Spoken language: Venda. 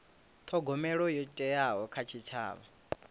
thogomelo yo thewaho kha tshitshavha